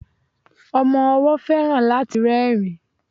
Ọmọ ọwó feran láti rerin